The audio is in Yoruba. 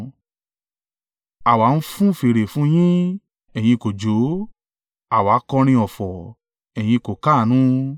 “ ‘Àwa ń fun fèrè fún yín, ẹ̀yin kò jó; àwa kọrin ọ̀fọ̀ ẹ̀yin kò káàánú.’